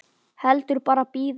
Heldur bara bíða.